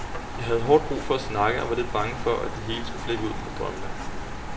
Jeg havde hårdt brug for at snakke og var lidt bange for, at det hele skulle flippe ud med drømmene.